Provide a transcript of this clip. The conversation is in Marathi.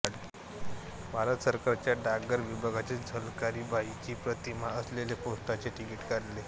भारत सरकारच्या डाकतार विभागाने झलकारीबाईची प्रतिमा असलेले पोस्टाचे तिकिट काढले आहे